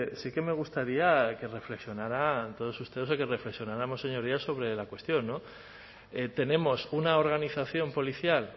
sí que me gustaría que reflexionaran todos ustedes o que reflexionáramos señorías sobre la cuestión tenemos una organización policial